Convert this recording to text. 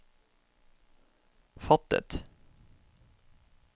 fattet